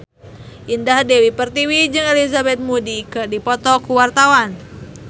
Indah Dewi Pertiwi jeung Elizabeth Moody keur dipoto ku wartawan